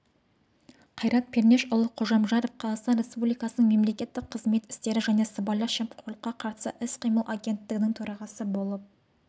қайрат пернешұлы қожамжаров қазақстан республикасының мемлекеттік қызмет істері және сыбайлас жемқорлыққа қарсы іс-қимыл агенттігінің төрағасы болып